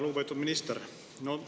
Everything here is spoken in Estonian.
Lugupeetud minister!